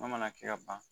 N'a mana kɛ ka ban